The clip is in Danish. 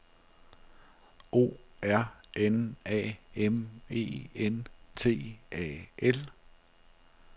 O R N A M E N T A L